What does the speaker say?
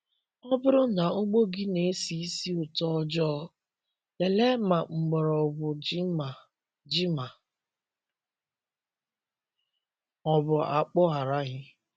Ọ bụrụ na ugbo gị na-esi isi utoojoo, lelee ma mgbọrọgwụ ji ma ji ma ọ bụ akpụ araghị.